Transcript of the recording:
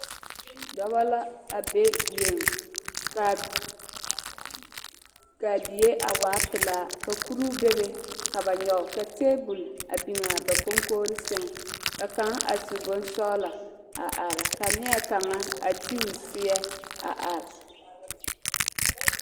Dɔɔba la a be die ,kaa diɛ a waa pelaa ka kuri be a be ka ba nyoŋ ka tabol biŋ a ba koŋkogri saŋ ka kaŋa a su bonsɔglo a are ka niɛ kaŋa a ti o siɛ a are.